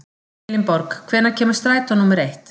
Elinborg, hvenær kemur strætó númer eitt?